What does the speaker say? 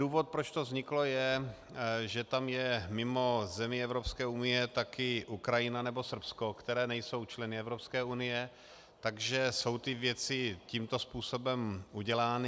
Důvod, proč to vzniklo, je, že tam je mimo zemí Evropské unie také Ukrajina nebo Srbsko, které nejsou členy Evropské unie, takže jsou ty věci tímto způsobem udělány.